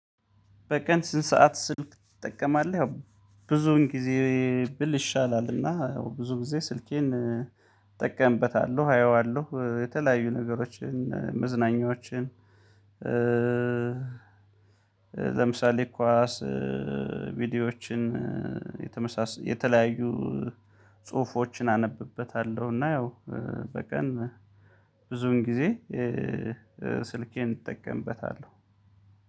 በቀን ስንት ሰዓት ስልክ ትጠቀማለህ? ብዙውን ጊዜ ብል ይሻላልና ብዙ ጊዜ ስልኬን እጠቀምበታለሁ አየዋለሁ የተለያዩ ነገሮችን መዝናኛዎችን። ለምሳሌ ኳስ ቪዲዮዎችን የተመሳሰለ የተለያዩ ጽሁፎችን አነብበታለሁ። እና ያው በቀን ብዙን ጊዜ ስልኬን እጠቀምበታለሁ።